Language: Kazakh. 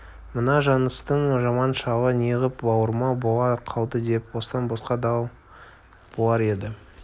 мына жаныстың жаман шалы неғып бауырмал бола қалды деп бостан-босқа дал болар еді